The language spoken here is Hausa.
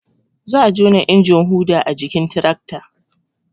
Za a jona injin huɗa a jikin tirakta